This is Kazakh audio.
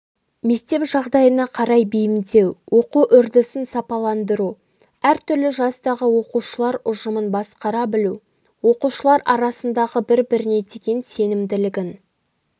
мектеп жағдайына қарай бейімдеу оқу үрдісін сапаландыру әртүрлі жастағы оқушылар ұжымын басқара білу оқушылар арасындағы бір-біріне деген сенімділігін